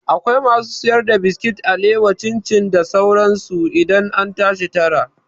Akwai masu siyar da biskit, alawa, cin cin da sauran su idan an tashi tara